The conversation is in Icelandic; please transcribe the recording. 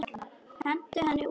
Hentu henni út!